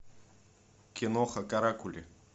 киноха каракули